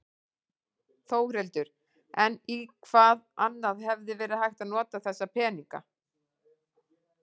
Þórhildur: En í hvað annað hefði verið hægt að nota þessa peninga?